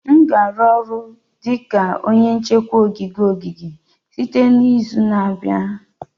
M ga-arụ ọrụ dị ka onye nchekwa na ogige ogige site n'izu na-abịa